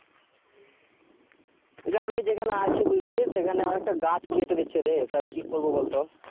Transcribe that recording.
আমি যেখানে আছি বুঝলি সেখানে একটা গাছ কেটে দিচ্ছে রে তা কি করব বল তো?